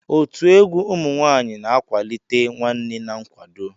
Otu egwu ụmụ nwaanyịna-akwalite nwanne na nkwado.